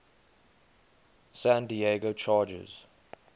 san diego chargers